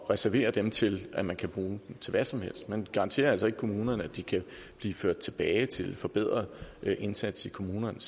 reserverer dem til at man kan bruge dem til hvad som helst man garanterer altså ikke kommunerne at de kan blive ført tilbage til en forbedret indsats i kommunerne